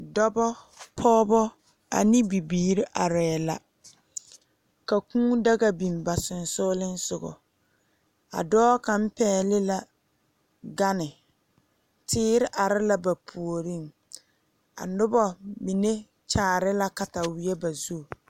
Dɔbɔ pɔɔbɔ ane bibiire arɛɛ la ka kūū daga biŋ ba seŋsugliŋsugɔ a dɔɔ kaŋ pɛgle la gane teere are la ba puoriŋ a nobɔ mine kyaare la kataweɛ ba zu.